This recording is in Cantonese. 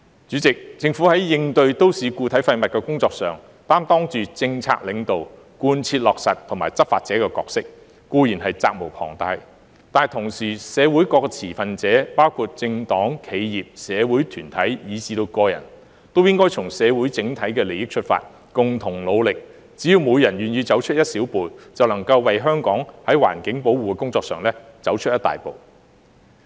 主席，政府在應對都市固體廢物的工作上，擔當着政策領導、貫徹落實和執法者的角色，固然是責無旁貸，但同時，社會各持份者，包括政黨、企業、社會團體以至個人，也應從社會整體利益出發，共同努力，只要每人願意走出一小步，便能為香港的環境保護工作走出一大步。